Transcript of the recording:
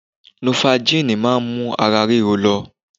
Nofagínì ma mú ara ríro lọ